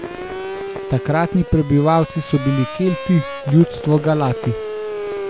Takratni prebivalci so bili Kelti, ljudstvo Galati.